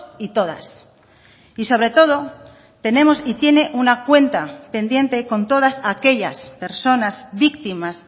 y todas y sobre todo tenemos y tiene una cuenta pendiente con todas aquellas personas víctimas